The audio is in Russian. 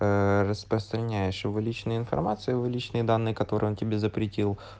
распространяешь его личную информацию в личные данные которые он тебе запретил